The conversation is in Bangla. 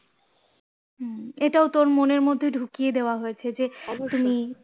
হুম এটাও তোর মনের মধ্যে ঢুকিয়ে দেওয়া হয়েছে যে তুমি